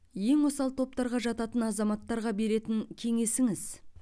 ең осал топтарға жататын азаматтарға беретін кеңесіңіз